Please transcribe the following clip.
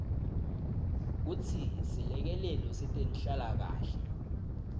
kutsi selekelelo setenhlalakanhle